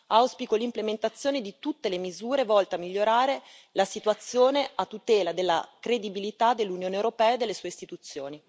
auspico l'implementazione di tutte le misure volte a migliorare la situazione a tutela della credibilità dell'Unione europea e delle sue istituzioni.